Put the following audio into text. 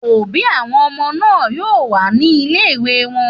Òbí àwọn ọmọ náà yóò wà ní ilé-ìwé wọn.